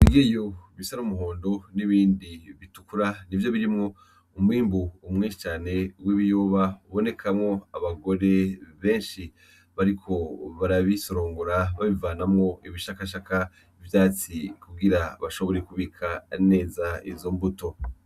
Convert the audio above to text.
Kigiyu bisara umuhondo n'ibindi bitukura ni vyo birimwo umbwimbu umwenshi cane w'ibiyoba ubonekamwo abagore benshi bariko barabisorongora babivanamwo ibishakashaka ivyatsi kugira bashobore ikubika neza izo mbuto.